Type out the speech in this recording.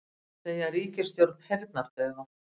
Segja ríkisstjórn heyrnardaufa